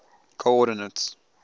coordinates